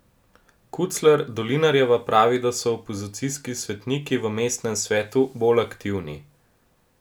Kucler Dolinarjeva pravi, da so opozicijski svetniki v mestnem svetu bolj aktivni.